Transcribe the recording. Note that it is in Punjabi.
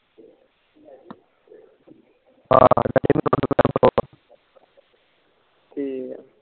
ਠੀਕ ਆ